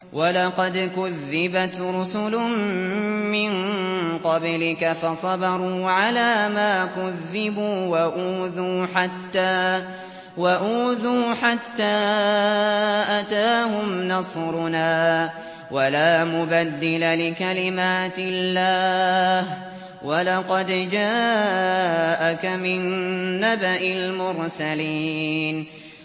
وَلَقَدْ كُذِّبَتْ رُسُلٌ مِّن قَبْلِكَ فَصَبَرُوا عَلَىٰ مَا كُذِّبُوا وَأُوذُوا حَتَّىٰ أَتَاهُمْ نَصْرُنَا ۚ وَلَا مُبَدِّلَ لِكَلِمَاتِ اللَّهِ ۚ وَلَقَدْ جَاءَكَ مِن نَّبَإِ الْمُرْسَلِينَ